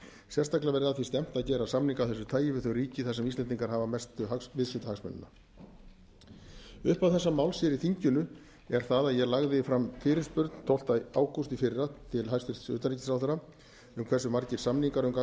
sérstaklega verði að því stefnt að gera samninga af þessu tagi við þau ríki þar sem íslendingar hafa mestu viðskiptahagsmunina upphaf þessa máls hér í þinginu er það að ég lagði hér fram fyrirspurn tólfta ágúst í fyrra til hæstvirts utanríkisráðherra um hversu margir samningar